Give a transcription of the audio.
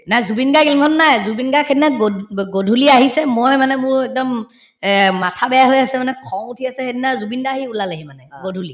নাই জুবিন গাৰ্গ ইমান নাই জুবিন গাৰ্গ সেইদিনা গধ‍ ব গধূলি আহিছে মই মানে মোৰ একদম এহ্ মাথা বেয়া হৈ আছে মানে খং উঠি আছে সেইদিনা জুবিন দাই আহি ওলালেহি মানে গধূলি